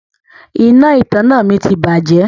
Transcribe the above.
Iná ìtanná mi ti bàjẹ́.